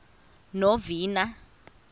novena